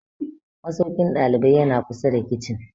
Masaukin ɗalibai ya na kusa da kicin